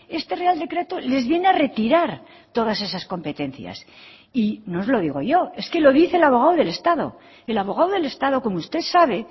este real decreto les viene a retirar todas esas competencias y no os lo digo yo es que lo dice el abogado del estado el abogado del estado como usted sabe